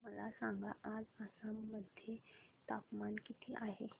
मला सांगा आज आसाम मध्ये तापमान किती आहे